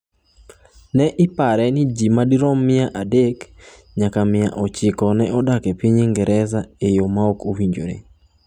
Ne ipare ni ji madirom mia adek nyaka mia ochiko ne odak e piny Ingresa e yo ma ok owinjore.